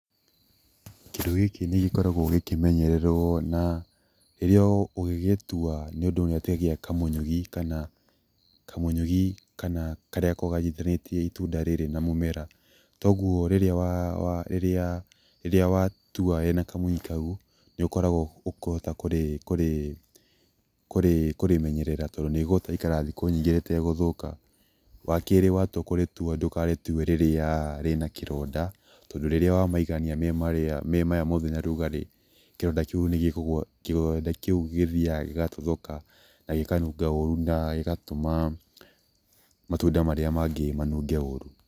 Kĩndũ gĩkĩ nĩ gĩkoragwo gĩkĩmenyerwo na rĩrĩa, ũgĩgĩtua mũndũ nĩ atigagia kamũnyugĩ kana karĩa gakoragwo kanyitithanĩtie itunda rĩrĩ na mũmera, kwoguo rĩrĩa watua rĩma kamũnyugĩ kau nĩ ũkoragwo ũkahota kũrĩmenyerera tondũ nĩ rĩgũikara thikũ nyingĩ rĩtegũthũka, wa kerĩ watua kũrĩtua ndũkarĩtue rĩrĩa rĩna kĩronda tondũ rĩrĩa wamaigania memarĩa mena ũrugarĩ, kĩronda kĩu nĩgĩthiaga gĩgatuthũka na gĩkanunga ũũru na nĩgatũma matunda marĩa mangĩ manunge ũũru.